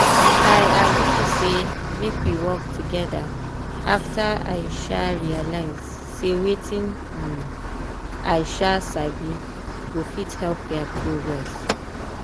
i agree say make we work together after i um realize say wetin um i um sabi go fit help their progress.